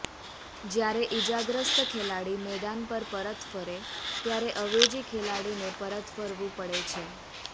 જ્યારે ઈજાગ્રસ્ત ખેલાડી મેદાન પર પરત ફરે ત્યારે અવેજી ખેલાડીને પરત ફરવું પડે છે